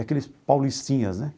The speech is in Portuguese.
Aqueles paulistinhas, né?